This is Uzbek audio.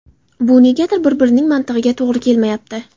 Bu negadir bir-birining mantig‘iga to‘g‘ri kelmayapti.